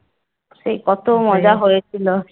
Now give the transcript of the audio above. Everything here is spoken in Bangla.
সেই কত মজা হয়েছিলো